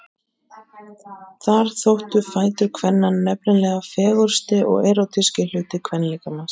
Þar þóttu fætur kvenna nefnilega fegursti og erótískasti hluti kvenlíkamans.